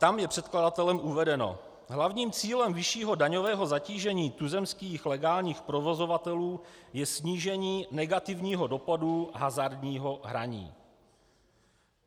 Tam je předkladatelem uvedeno: hlavním cílem vyššího daňového zatížení tuzemských legálních provozovatelů je snížení negativního dopadu hazardního hraní.